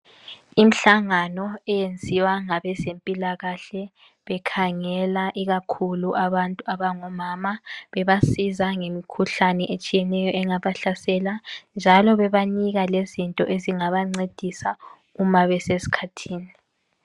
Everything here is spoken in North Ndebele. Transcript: Imhlangano eyenziwa ngabezempilakahle bekhangela ikakhulu abantu abangomama bebasiza ngemkhuhlane etshiyeneyo engaba hlasela njalo bebanika lezinto ezingabancedisa uma bese skhathini .